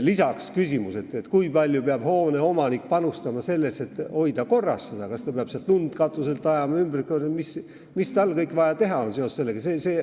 Lisaks küsimus, kui palju peab omanik panustama sellesse, et hoida hoonet korras – kas ta peab katuselt lund ajama või mida kõike tal veel on vaja teha seoses sellega.